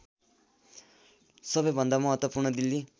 सबैभन्दा महत्त्वपूर्ण दिल्ली